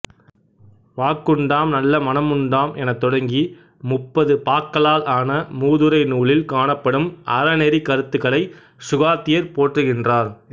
வாக்குண்டாம் நல்ல மனமுண்டாம் எனத் தொடங்கி முப்பது பாக்களால் ஆன மூதுரை நூலில் காணப்படும் அறநெறிக் கருத்துகளை சுகாத்தியர் போற்றுகின்றார்